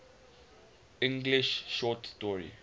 english short story